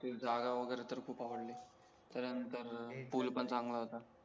ते जागा वगेरे तर खूप आवडली त्याच्या नतंर पूल पण चांगला होता